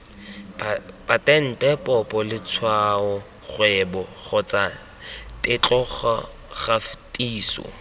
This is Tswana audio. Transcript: patente popo letshwaokgwebo kgotsa tetlokgatiso